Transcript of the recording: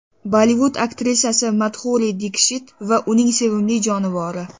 Bollivud aktrisasi Madhuri Dikshit va uning sevimli jonivori.